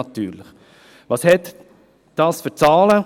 Welche Zahlen sind dies?